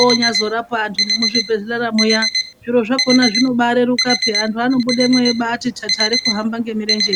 onyaazorapa vantu muzvibhedhlera muya zviro zvakona zvinoreruka peyani antu anobude eyimbaiti tsatsare kuhamba ngemirenje iyi.